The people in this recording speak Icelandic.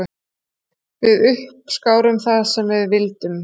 Við uppskárum það sem við vildum.